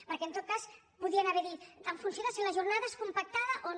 perquè en tot cas podrien haver dit en funció de si la jornada és compactada o no